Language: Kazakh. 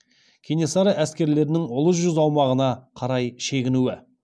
кенесары әскерлерінің ұлы жүз аумағына қарай шегінуі